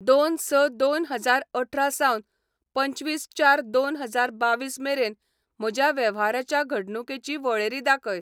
दोन, स, दोन हजार अठरा सावन पंचवीस चार दोन हजार बावीस मेरेन म्हज्या वेव्हाराच्या घडणुकेची वळेरी दाखय